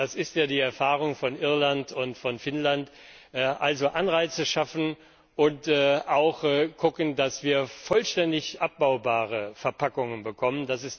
Das ist ja die Erfahrung von Irland und von Finnland. Also Anreize schaffen und auch zusehen, dass wir vollständig abbaubare Verpackungen bekommen.